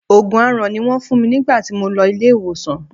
Òògùn aaràn ni Wọ́n fún mi nígbà tí mo lọ ilé ìwòsàn.